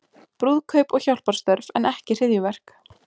Brúðkaup og hjálparstörf en ekki hryðjuverk